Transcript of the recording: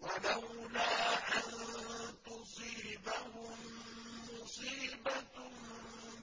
وَلَوْلَا أَن تُصِيبَهُم مُّصِيبَةٌ